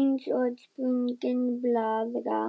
eins og sprungin blaðra.